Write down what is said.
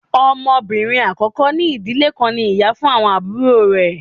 Ọmọbinrin akọkọ ni idile kan ní ìyá fun awọn aburo rẹ